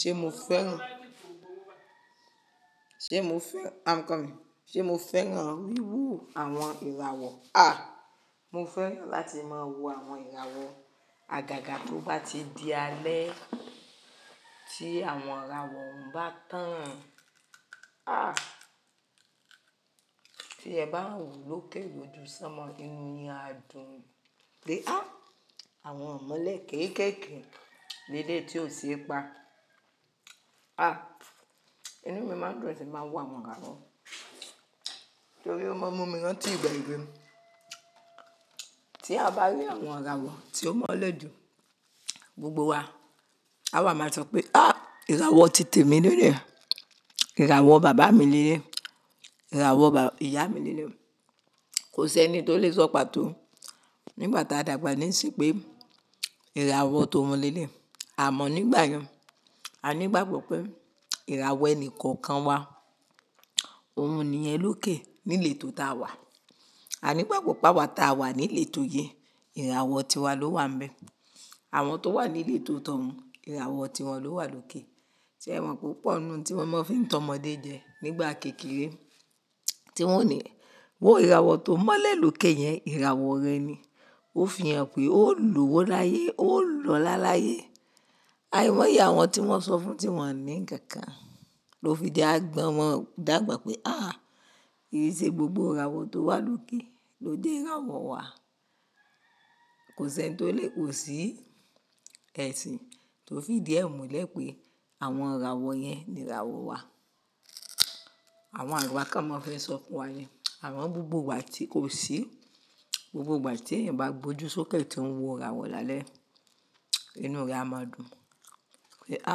Ṣé mo fẹ́ràn? I'm coming. Ṣé mo fẹ́ràn wíwo àwọn ìràwọ̀? À, mo fẹ́ràn láti máa wo àwọn ìràwọ̀. Àgàgà tó bá ti di alẹ́, tí àwọn ìràwọ̀ orun bá tàn. Àh, tí ẹ bá wo lókè lójú sánmọ, inú ni á dùn pé à, àwọn imole kẹ̀kẹ́kẹ̀ ní eleyi tí ò ṣe é pa. Àh, inú mi máa ń dùn tí n ba ń wo àwọn ìràwọ̀, torí ó máa ń mú mi rán tí ìgbà ewe. Tí a bá rí àwọn ìràwọ̀ tí ó mọ́lẹ̀ doo gbogbo wa, àwa máa sọ pé à, ìràwọ̀ tì temi ni eleyi, ìràwọ̀ bàbá mi ni eleyi, ìràwọ̀ ìyá mi ni eleyi Kò sí ẹni tó lè sọ pàtó nígbà tí a dàgbà ní ìsinyìí pé ìràwọ̀ ti oun ni eleyi. Àmọ́ nígbà yẹn, a ní ìgbàgbọ́ pé ìràwọ̀ ẹnì kọ̀ọ̀kan wa, òun nìyẹn lókè ní iletó ta wà. A ní ìgbàgbọ́ páwọ̀ tí a wà ní ileto yẹn, ìràwọ̀ tiwa ló wà ńbẹ. Àwọn tó wà ní iletó ti oun, ìràwọ̀ tiwọn ló wà lókè. Ṣé ẹ mọ̀ pé opo ninu ohun tí wọ́n fi ń tan ọmọdé jẹ nígbà kékeré tí wọ́n o ní, wò ìràwọ̀ tó mọ́lẹ̀ lókè yẹn, ìràwọ̀ rẹ ni. Ó fi hàn pé ó lowo láyé, ó lọ́lá láyé. Àì mọ iyàwọn tí wọ́n sọ fún, tí wọ́n ni nkankan. Lo fi di agbọn, wọ́n dàgbà pé à, kii se gbogbo ìràwọ̀ tó wà lókè ló jé ìràwọ̀ wa. Kò sí ẹni tó lè kò sí ẹṣin tó fi ìdí ẹ̀ múlẹ̀ pé àwọn ìràwọ̀ yẹn ni ìràwọ̀ wa. Àwọn agba kan maa n fe sọ fún wa ni Àwọn gbogbo wa tí kò sí gbogbo ìgbà tí ẹ̀yin bá gbójú sókè tí ń wo ìràwọ̀ lálẹ́, inú rẹ á máa dùn pé à,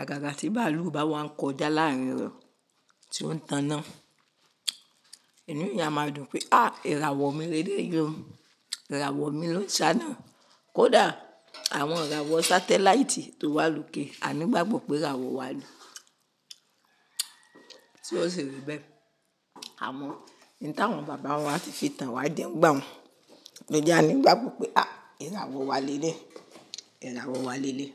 àgàgà tí bàálù bá wá ń kọjá láàrín rẹ̀ tí ó ń tanná. Inú yẹn á máa dùn pé à, ìràwọ̀ mi leleyi o, ìràwọ̀ mi ló sáná. Kódà àwọn ìràwọ̀ satellite tó wà lókè, a ní ìgbàgbọ́ pé ìràwọ̀ wa ni Tí ó si rí bẹ́ẹ̀. Àmọ́, n ti àwọn bàbá wa ti fi tan wa je n gbà n lo je a ní ìgbàgbọ́ pé à, ìràwọ̀ wa leleyi, ìràwọ̀ wa leleyi.